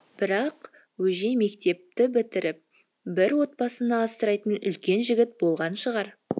бірақ өже мектепті бітіріп бір отбасыны асырайтын үлкен жігіт болған шығар